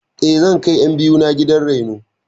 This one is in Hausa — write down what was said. Eh, zan kai ƴan biyu na gidan raino.